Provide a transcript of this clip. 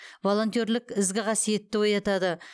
волентерлік ізгі қасиетті оятады